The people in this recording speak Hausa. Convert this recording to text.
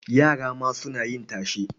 Yara ma suna yin tashe.